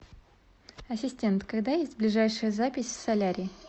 ассистент когда есть ближайшая запись в солярий